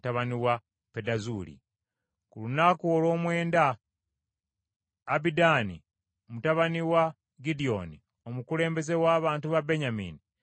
Ku lunaku olw’omwenda Abidaani mutabani wa Gidyoni, omukulembeze w’abantu ba Benyamini, n’aleeta ekiweebwayo kye.